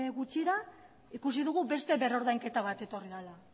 gutxira ikusi dugu beste berrordainketa bat etorri dela